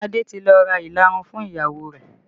Adé ti lọ ra ìlarun fún ìyàwó rẹ̀